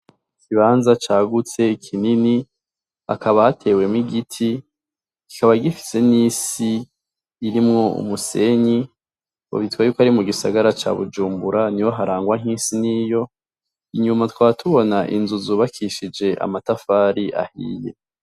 Ikibanza cagutse kinini hakaba hatewemwo igiti kikaba gifise n'isi irimwo umusenyi bita ko ari mu gisagara ca Bujumbura niho harangwa isi nkiyo inyuma tukaba tubona inzu zubakishije amatafari ahiye.